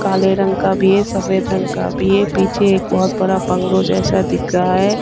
काले रंग का भी है सफ़ेद रंग का भी है पीछे एक बहुत बड़ा बंगलो जैसा दिख रहा है।